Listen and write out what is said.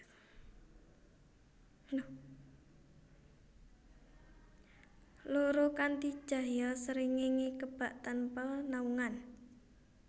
Loro Kanthi cahya srengéngé kebak tanpa naungan